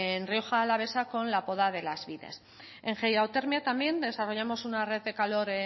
en rioja alavesa con la poda de las en hidrotermia también desarrollamos una red de calor